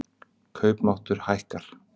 Kaupmáttur hækkar